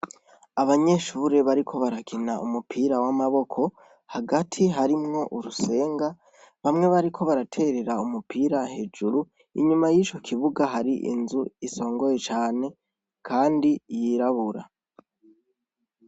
Abanyeshure bariko barakina umupira w'amaboko hagati harimwo urusenga bamwe bariko baraterera umupira hejuru inyuma y'ico kibuga hari inzu isongoye cane, kandi yirabura.